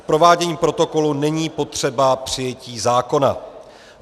K provádění protokolu není potřeba přijetí zákona.